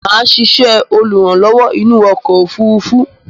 Mà á sisẹ́ olùrànlówó inú okò òfurufú